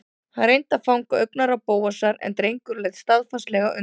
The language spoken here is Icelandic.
Hann reyndi að fanga augnaráð Bóasar en drengurinn leit staðfastlega undan.